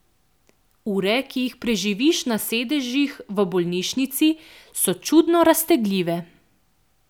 Ure, ki jih preživiš na sedežih v bolnišnici, so čudno raztegljive.